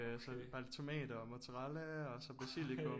Så bare lige lidt tomater og mozzarella og så basilikum